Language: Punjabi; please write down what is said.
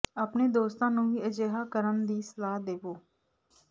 ਆਪਣੇ ਦੋਸਤਾਂ ਨੂੰ ਵੀ ਅਜਿਹਾ ਕਰਨ ਦੀ ਸਲਾਹ ਦੇਵੋ